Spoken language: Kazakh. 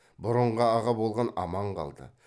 бұрынғы аға болған аман қалды